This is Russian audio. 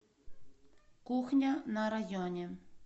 кухня на районе